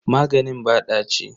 Maganin ba ɗaci.